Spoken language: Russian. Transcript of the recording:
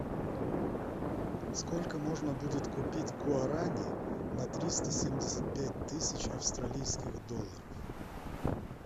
сколько можно будет купить гуарани на триста семьдесят пять тысяч австралийских долларов